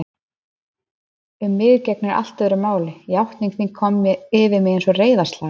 Um mig gegnir allt öðru máli: játning þín kom yfir mig einsog reiðarslag.